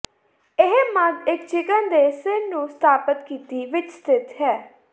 ਇਹ ਮੱਧ ਇੱਕ ਚਿਕਨ ਦੇ ਸਿਰ ਨੂੰ ਸਥਾਪਤ ਕੀਤੀ ਵਿੱਚ ਸਥਿਤ ਹੈ